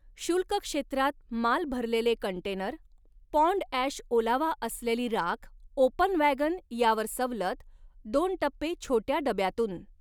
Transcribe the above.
शुल्क क्षेत्रात माल भरलेले कंटेनर, पाँड ॲश ओलावा असलेली राख ओपन वॅगन यावर सवलत, दोन टप्पे छोट्या डब्यातून